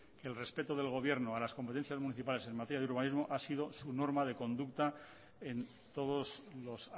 que el respeto del gobierno a las competencias municipales en materia de urbanismo ha sido su norma de conducta en todos los